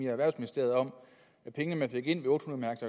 erhvervsministeriet om at pengene man fik ind ved otte hundrede